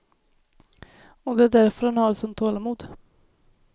Och det är därför han har ett sånt tålamod.